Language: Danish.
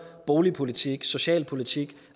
boligpolitik socialpolitik